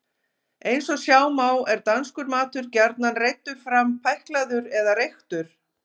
Eins og sjá má er danskur matur gjarnan reiddur fram pæklaður eða reyktur.